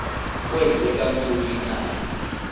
kwenzeka ntoni na